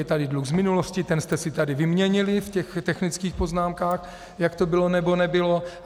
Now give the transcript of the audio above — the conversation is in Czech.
Je tady dluh z minulosti, ten jste si tady vyměnili v těch technických poznámkách, jak to bylo, nebo nebylo.